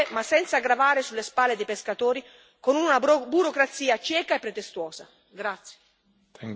Quindi sì al rispetto delle norme, ma senza gravare sulle spalle dei pescatori con una burocrazia cieca e pretestuosa.